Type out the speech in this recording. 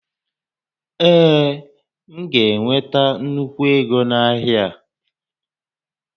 Ee, m ga-enweta nnukwu égo na-ahịa a